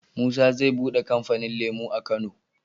Musa ze buɗe kamfanin lemo a kano